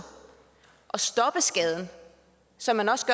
og stoppe skaden som man også